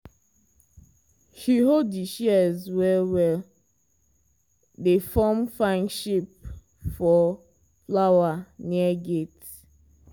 she hold di shears well-well dey form fine shape for flower near gate.